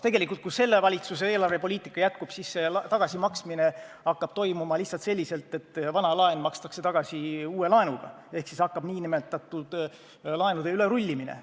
Tegelikult, kui selle valitsuse eelarvepoliitika jätkub, siis see tagasimaksmine hakkab toimuma lihtsalt selliselt, et vana laen makstakse tagasi uue laenuga ehk siis hakkab nn laenude ülerullimine.